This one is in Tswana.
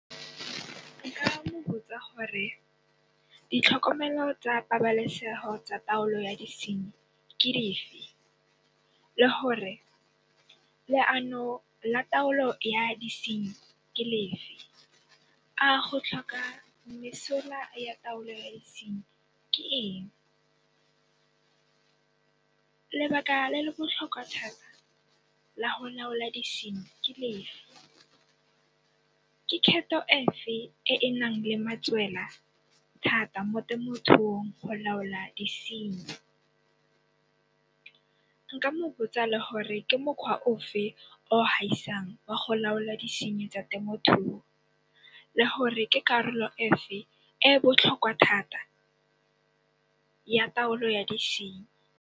Nka mo botsa gore ditlhokomelo tsa pabalesego tsa taolo ya disenyi, ke dife le gore leano la taolo ya disenyi ke lefe. A go tlhoka mesola ya taolo ya disenyi ke eng. Lebaka le le botlhokwa thata la go laola disenyi, ke lefe. Ke kgeto e fe, e e naleng matswela thata mo temothuong go laola disenyi. Nka mo botsa le gore ke mokgwa ofe o haisang wa go laola disenyi tsa temothuo, le gore ke karolo efe e botlhokwa thata ya taolo ya disenyi.